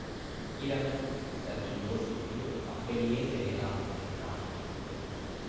விக்கிரமன் சற்று யோசித்து அப்படியே செய்யலாம் என்றான்